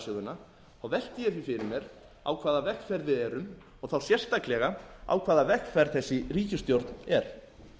velti ég því fyrir mér á hvaða vegferð við erum og þá sérstaklega á hvaða vegferð þessi ríkisstjórn er